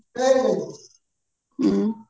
ହୁଁ